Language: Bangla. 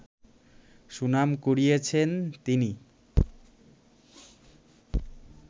সুনাম কুড়িয়েছেন তিনি